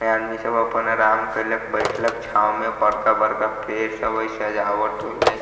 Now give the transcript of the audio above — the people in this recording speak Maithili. एता आदमी सब अपन आराम कैयलक बैठलक छांव में बड़का-बड़का पेड़ सब